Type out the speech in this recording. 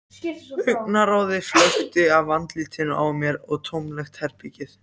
Augnaráðið flökti af andlitinu á mér um tómlegt herbergið.